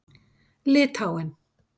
Litháen